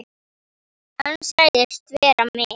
Hann sagðist vera með